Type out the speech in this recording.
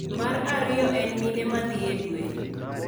Mar ariyo en mine ma dhi e dwe.